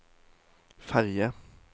ferge